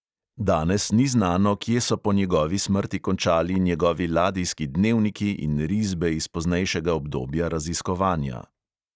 Danes ni znano, kje so po njegovi smrti končali njegovi ladijski dnevniki in risbe iz poznejšega obdobja raziskovanja.